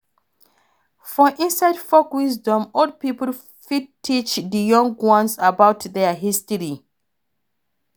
For inside folk wisdom, old pipo fit teach di young ones about their history